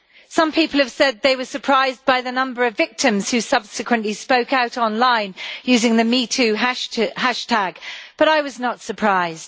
Some people have said they were surprised by the number of victims who subsequently spoke out online, using the Me Too' hashtag, but I was not surprised.